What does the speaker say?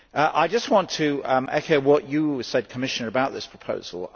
I just want to echo want you said, Commissioner, about this proposal.